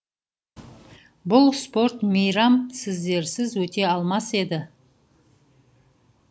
бұл спорт мейрам сіздерсіз өте алмас еді